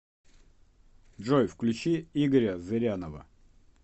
джой включи игоря зырянова